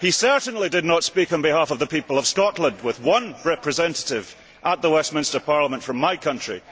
He certainly did not speak on behalf of the people of Scotland, with one representative at the Westminster Parliament from my country.